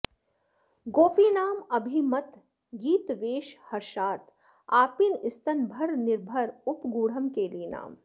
गोपीनाम् अभिमत गीत वेष हर्षात् आपीन स्तन भर निर्भर उपगूढम् केलीनाम्